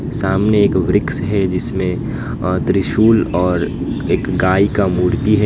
सामने एक वृक्ष है जिसमें त्रिशूल और एक गाय का मूर्ति है।